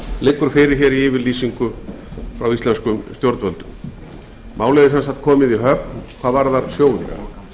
liggur fyrir í yfirlýsingu frá íslenskum stjórnvöldum málið er sem sagt komið í höfn hvað varðar sjóðinn